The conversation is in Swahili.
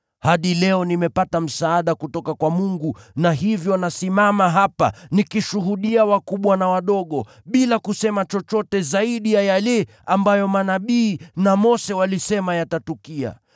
Hadi leo nimepata msaada kutoka kwa Mungu, na hivyo nasimama hapa nikishuhudia kwa wakubwa na wadogo. Sisemi chochote zaidi ya yale ambayo manabii na Mose walisema yatatukia: